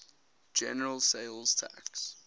general sales tax